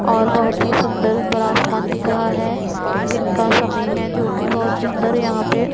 और बहुत ही सुन्दर ऊपर आसमान दिख रहा है। दिन का समय है जो कि बहुत सुंदर यहां पे --